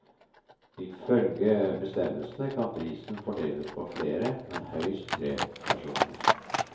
I følge bestemmelsene kan prisen fordeles på flere, men høyst tre personer.